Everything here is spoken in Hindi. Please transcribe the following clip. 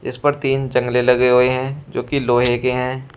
इस पर तीन चंगले लगे हुए जो की लोहे के हैं।